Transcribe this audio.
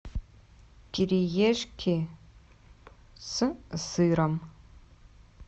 кириешки с сыром